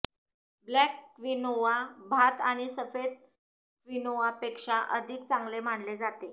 black quinoa भात आणि सफेद क्विनोआपेक्षा अधिक चांगले मानले जाते